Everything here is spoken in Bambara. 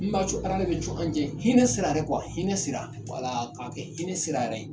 Ni n b'a Ala de ni to an cɛ hinɛ sira yɛrɛ hinɛ sira k'a kɛ hinɛ sira yɛrɛ ye